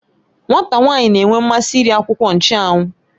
Nwata nwanyi na-enwe mmasị iri akwukwo nchụ́anwu